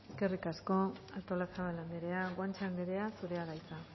eskerrik asko artolazabal anderea guanche anderea zurea da hitza